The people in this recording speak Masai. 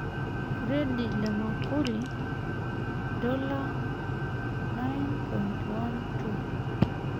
Furedi le makuri $9.12